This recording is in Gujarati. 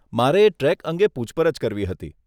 મારે ટ્રેક અંગે પૂછપરછ કરવી હતી.